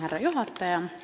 Härra juhataja!